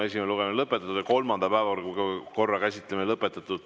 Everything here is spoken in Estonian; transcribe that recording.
Esimene lugemine on lõpetatud ja kolmanda päevakorrapunkti käsitlemine on lõpetatud.